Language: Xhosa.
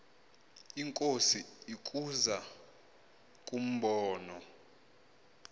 inkosi ukuza kumbona